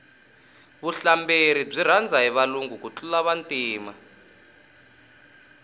vuhlamberi byi rhandza hi valungu ku tlula vantima